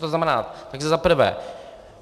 To znamená, takže za prvé.